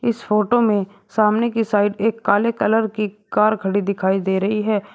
इस फोटो में सामने की साइड एक काले कलर की कार खड़ी दिखाई दे रही है।